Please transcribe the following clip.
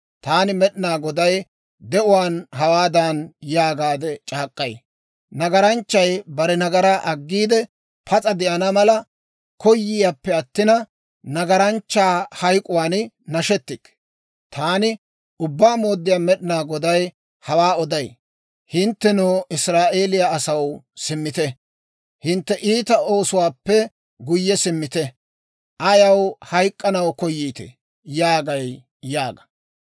Taani Med'inaa Goday de'uwaan hawaadan yaagaade c'aak'k'ay; «Nagaranchchay bare nagaraa aggiide, pas'a de'ana mala koyayippe attina, nagaranchchaa hayk'k'uwaan nashetikke. Taani Ubbaa Mooddiyaa Med'inaa Goday hawaa oday. Hinttenoo, Israa'eeliyaa asaw, simmite; hintte iita oosuwaappe guyye simmite! Ayaw hayk'k'anaw koyiitee?» yaagay› yaaga.